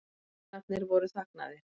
Hanarnir voru þagnaðir.